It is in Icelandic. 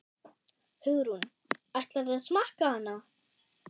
Hugrún: Ætlarðu að smakka hana?